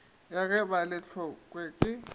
ya ge ba le tlokwe